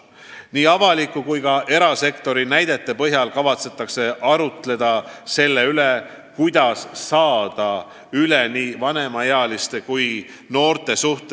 Nii avaliku kui ka erasektori näidete põhjal kavatsetakse arutleda selle üle, kuidas saada üle stereotüüpidest, mis on seotud nii vanemaealiste kui ka noortega.